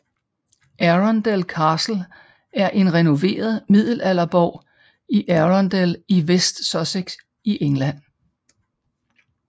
Arundel Castle er en renoveret middelalderborg i Arundel iWest Sussex i England